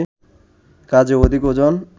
কাজেই অধিক ওজন